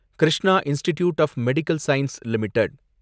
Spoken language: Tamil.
Krishna institute of medical science limited